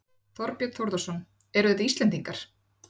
Þorbjörn Þórðarson: Eru þetta Íslendingar?